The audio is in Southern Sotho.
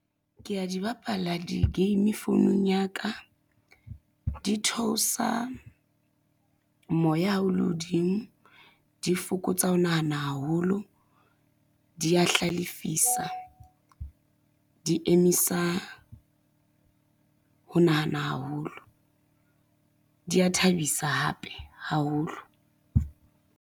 Ke a di bapala di-game founung ya ka, di theosa moya ha o le hodimo, di fokotsa ho nahana haholo, di a hlalefisa, di emisa ho nahana haholo, di a thabisa hape haholo.